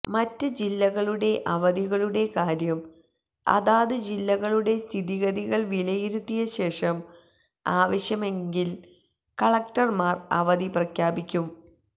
മറ്റ് ജില്ലകളുടെ അവധികളുടെ കാര്യം അതാത് ജില്ലകളുടെ സ്ഥിതിഗതികൾ വിലയിരുത്തിയശേഷം ആവശ്യമെങ്കിൽ കളക്ടർമാർ അവധി പ്രഖ്യാപിക്കും